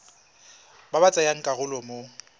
ba ba tsayang karolo mo